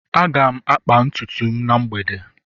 aga m akpa ntutu m na mgbede